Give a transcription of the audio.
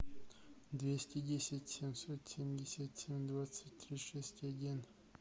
двести десять семьсот семьдесят семь двадцать три шесть один